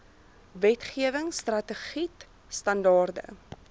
wetgewing strategied standaarde